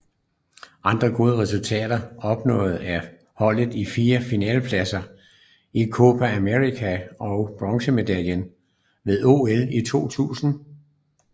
Andre gode resultater opnået af holdet er fire finalepladser i Copa América og bronzemedaljer ved OL i 2000